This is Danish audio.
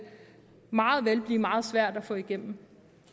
meget vel blive meget svært at få igennem